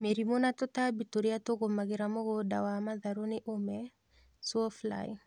Mĩrimũ na tũtambi tũrĩa tũgũmagĩra mũgũnda wa matharũ nĩ ũme, sawfly